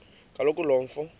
kaloku lo mfo